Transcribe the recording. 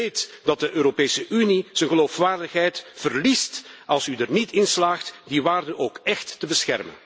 Weet dat de Europese Unie zijn geloofwaardigheid verliest als u er niet in slaagt die waarden ook echt te beschermen.